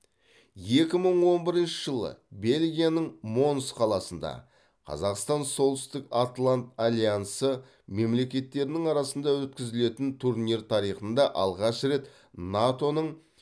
екі мың он бірінші жылы бельгияның монс қаласында қазақстан солтүстік атлант альянсы мемлекеттерінің арасында өткізілетін турнир тарихында алғаш рет нато ның